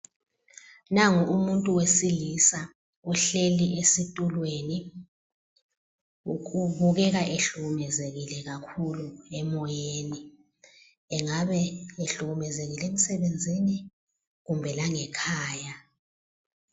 Nangu umuntu wesilisa uhleli esitulweni. Ubukeka ehlukumezekile kakhulu emoyeni. Engabe ehlukumezekile emsebenzini kumbe langekhaya.